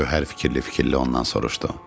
Gövhər fikirli-fikirli ondan soruşdu.